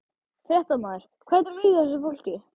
Fréttamaður: Hvernig líður þessu fólki?